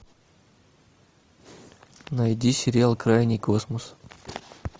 найди сериал крайний космос